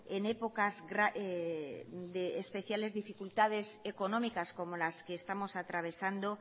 en épocas de especiales dificultades económicas como las que estamos atravesando